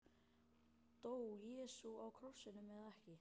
Dó Jesú á krossinum eða ekki?